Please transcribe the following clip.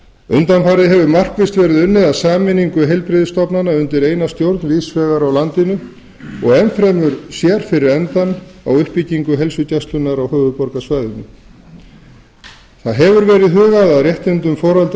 undanfarið hefur markvisst verið unnið að sameiningu heilbrigðisstofnana undir eina stjórn víðs vegar á landinu og enn fremur sér fyrir endann á uppbyggingu heilsugæslunnar á höfuðborgarsvæðinu hugað hefur verið að réttindum foreldra